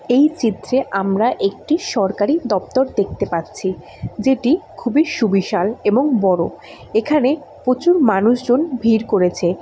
এই চিত্রে আমরা একটি সরকারি দপ্তর দেখতে পাচ্ছি যেটি খুবই সুবিশাল এবং বড়ো এখানে প্রচুর মানুষজন ভিড় করেছে।